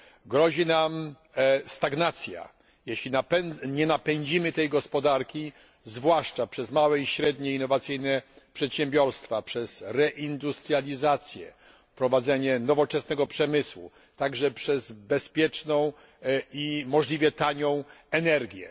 Grozi nam stagnacja, jeśli nie napędzimy gospodarki, zwłaszcza przez małe i średnie, innowacyjne przedsiębiorstwa, przez reindustrializację, prowadzenie nowoczesnego przemysłu, także przez bezpieczną i możliwie tanią energię.